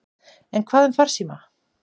En hvað um farsíma?